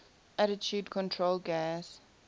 attitude control gas